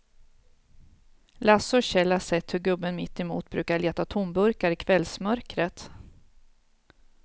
Lasse och Kjell har sett hur gubben mittemot brukar leta tomburkar i kvällsmörkret.